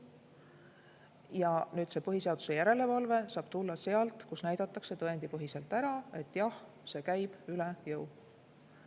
Ja see põhiseaduslikkuse järelevalve saab tulla sellelt pinnalt, et näidatakse tõendipõhiselt ära, et jah, see käib üle jõu.